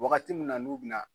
Waagati min na n'u bɛ na.